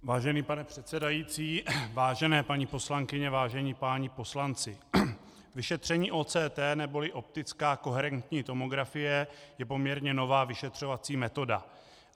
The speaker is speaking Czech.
Vážený pane předsedající, vážené paní poslankyně, vážení páni poslanci, vyšetření OCT neboli optická koherentní tomografie je poměrně nová vyšetřovací metoda.